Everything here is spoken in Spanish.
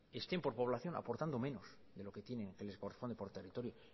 estén por población aportando menos de lo que tienen que les corresponde por territorio